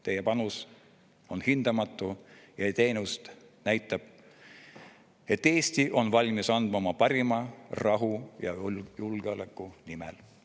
Teie panus on hindamatu ja näitab, et Eesti on valmis andma oma parima rahu ja julgeoleku nimel.